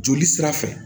Joli sira fɛ